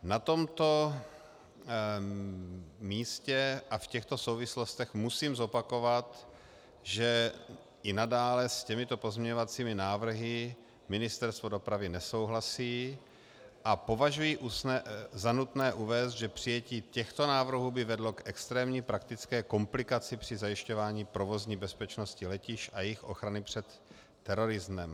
Na tomto místě a v těchto souvislostech musím zopakovat, že i nadále s těmito pozměňovacími návrhy Ministerstvo dopravy nesouhlasí, a považuji za nutné uvést, že přijetí těchto návrhů by vedlo k extrémní praktické komplikaci při zajišťování provozní bezpečnosti letišť a jejich ochrany před terorismem.